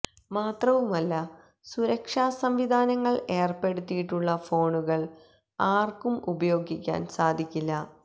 മാത്രവുമല്ല സുരക്ഷാ സംവിധാനങ്ങള് ഏര്പ്പെടുത്തിയിട്ടുള്ള ഫോണുകള് ആര്ക്കും ഉപയോഗിക്കാന് സാധിക്കില്ല